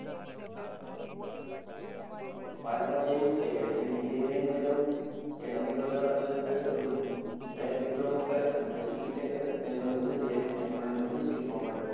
મારા મતે એવું છે કે જેને engineering માં જવું એને અગિયાર બાર કરવાનીં કાઈ જરૂર નથી, direct diploma કરીને પછી BTECH કરે એને વધુ experience મળે અને વધુ શીખવા મળે.